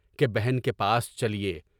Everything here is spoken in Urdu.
کہ بہن کے پاس چلیے۔